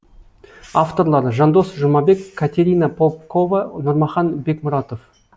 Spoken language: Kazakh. авторлары жандос жұмабек катерина попкова нұрмахан бекмұратов